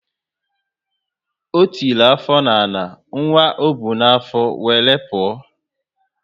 O tiri afọ na ala, nwa ọ bu na afo wéré pụọ